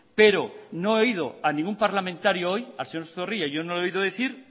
pero no he oído a ningún parlamentario hoy al señor zorrilla yo no le he oído decir